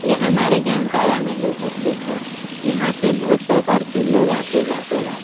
यह हमारे जामताड़ा में ही उपस्थित है यहाँ पे बहुत प्रकार के लोग आते जाते रहते --